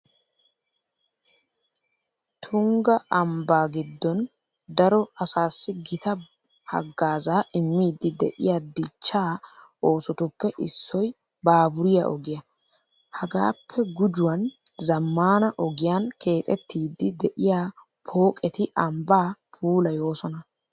Tungga ambbaa giddon daro asaassi gita haggaazaa immiiddi de'iya dichchaa oosotuppe issoy baaburiya ogiya. Hagaappe gujuwan zammaana ogiyan keexettiiddi de'iya pooqeti ambbaa puulayoosona.